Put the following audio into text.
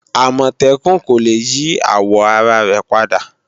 Àmọ̀tẹ́kùn kò le yí àwò ara rẹ̀ padà